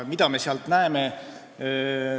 Mida me sealt näeme?